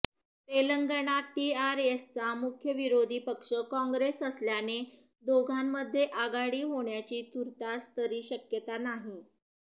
तेलंगणात टीआरएसचा मुख्य विरोधी पक्ष काँग्रेस असल्याने दोघांमध्ये आघाडी होण्याची तूर्तास तरी शक्यता नाही